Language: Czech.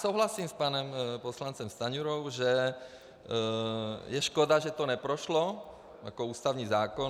Souhlasím s panem poslancem Stanjurou, že je škoda, že to neprošlo, jako ústavní zákon.